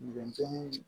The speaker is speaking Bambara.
Denmisɛnw